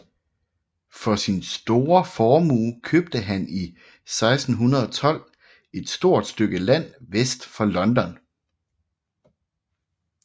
For sin store formue købte han i 1612 et stort stykke land vest for London